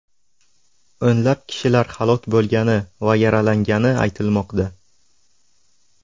O‘nlab kishilar halok bo‘lgani va yaralangani aytilmoqda.